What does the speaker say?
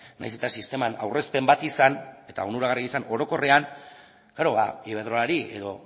nahiz eta sisteman aurrezpen bat izan eta onuragarria izan orokorrean iberdrolari edo